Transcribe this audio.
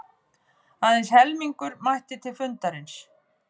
Aðeins helmingur mætti til fundarins